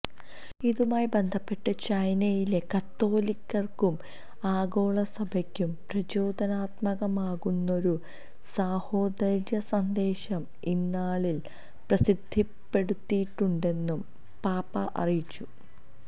ഇതുമായി ബന്ധപ്പെട്ട് ചൈനയിലെ കത്തോലിക്കര്ക്കും ആഗോള സഭയ്ക്കും പ്രചോദനാത്മകമാകുന്നൊരു സാഹോദര്യസന്ദേശം ഇന്നാളില് പ്രസിദ്ധപ്പെടുത്തിയിട്ടുണ്ടെന്നും പാപ്പാ അറിയിച്ചു